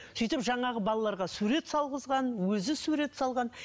сөйтіп жаңағы балаларға сурет салғызған өзі сурет салған